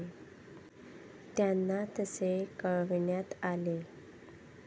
त्यांना तसे कळविण्यात आले.